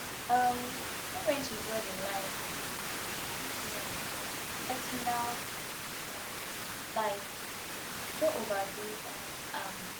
um know when to draw di line between work and personal um life no overdo um am